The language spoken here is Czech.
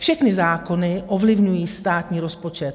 Všechny zákony ovlivňují státní rozpočet.